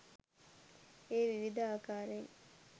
එය විවිධ ආකාරයෙන්